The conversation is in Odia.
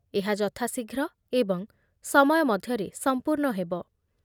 ଏହା ଯଥାଶୀଘ୍ର ଏବଂ ମଧ୍ୟରେ ସମୟ ସମ୍ପୂର୍ଣ୍ଣ ହେବ ।